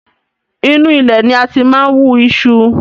Inu ilẹ̀ ni a ti máa ń wú iṣu